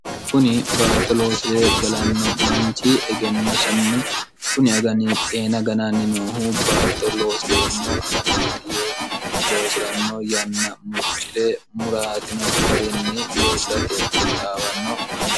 kuni baatto loosi're galanno manchi egennosinni kuni agani xeena gananni noohu baatto loosi'reemmo aganaati yee loosi'ranno yanna murci're muraatino garinni loosirate ketxaawanno manchi